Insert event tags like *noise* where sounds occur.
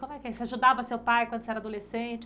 como é que *unintelligible* Você ajudava seu pai quando você era adolescente?